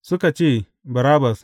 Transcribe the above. Suka ce, Barabbas.